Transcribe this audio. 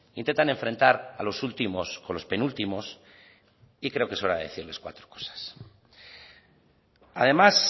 intentan enfrentar a los últimos con los penúltimos y creo que es hora de decirles cuatro cosas además